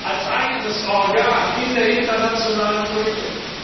als eigenes Organ in der internationalen Politik?